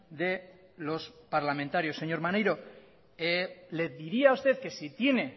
de los parlamentarios señor maneiro le diría a usted que si tiene